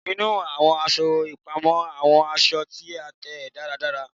Inu awọn aṣọ ipamọ awọn aṣọ ti a tẹ daradara